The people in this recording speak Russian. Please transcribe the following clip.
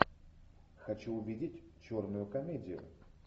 хочу увидеть черную комедию